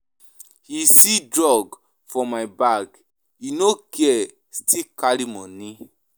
He see drug for my bag, he no care still carry money.